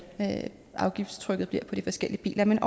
afgiftstrykket bliver på de forskellige biler men